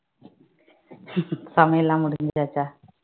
சமையல் எல்லாம் முடிஞ்சாச்சா